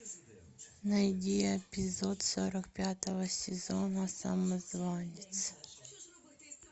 найди эпизод сорок пятого сезона самозванец